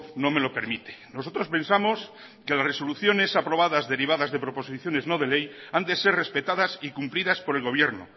no me lo permite nosotros pensamos que las resoluciones aprobadas derivadas de proposiciones no de ley han de ser respetadas y cumplidas por el gobierno